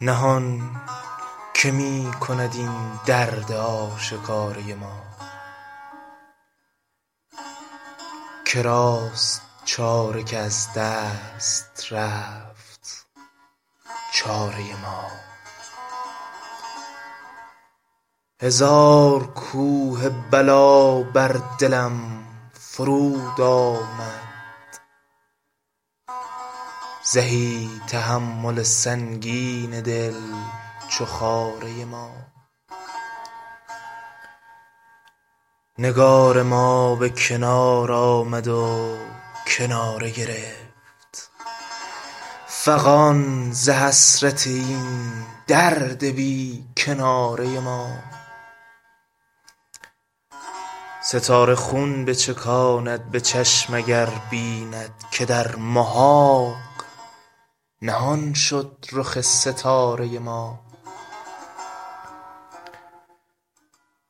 نهان که می کند این درد آشکاره ما که راست چاره که از دست رفت چاره ما هزار کوه بلا بر دلم فرود آمد زهی تحمل سنگین دل چو خاره ما نگار ما به کنار آمد و کناره گرفت فغان ز حسرت این درد بی کناره ما ستاره خون بچکاند به چشم اگر بیند که در محاق نهان شد رخ ستاره ما